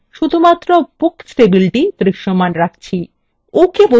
ok বাটনের উপর click করা যাক